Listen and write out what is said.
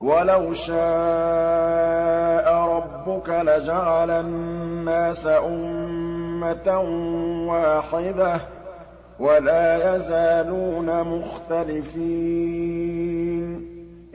وَلَوْ شَاءَ رَبُّكَ لَجَعَلَ النَّاسَ أُمَّةً وَاحِدَةً ۖ وَلَا يَزَالُونَ مُخْتَلِفِينَ